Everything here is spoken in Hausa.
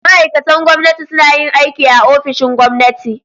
Ma'aikatan gwamnati suna yin aiki a ofishin gwamnati.